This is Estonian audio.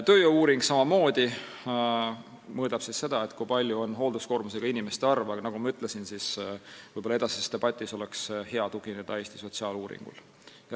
Tööjõu-uuring mõõdab samamoodi seda, kui suur on hoolduskoormusega inimeste arv, aga nagu ma ütlesin, edasises debatis oleks võib-olla hea tugineda Eesti sotsiaaluuringule.